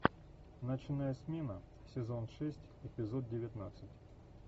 ночная смена сезон шесть эпизод девятнадцать